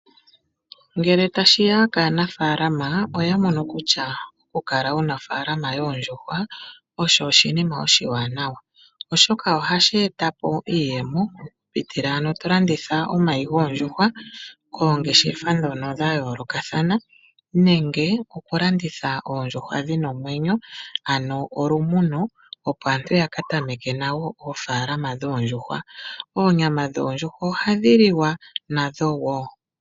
Ngele tashi ya kaanafaalama oya mono kutya okukala wu na ofaalama yoondjuhwa osho oshinima oshiwanawa, oshoka ohashi eta po iiyemo okupitila mokulanditha omayi goondjuhwa koongeshefa ndhoka dha yoolokathana nenge okulanditha oondjuhwa dhi na omwenyo, ano olumuno, opo aantu ya ka tameke oofaalama dhoondjuhwa. Onyama yondjuhwa ohayi liwa nayo wo.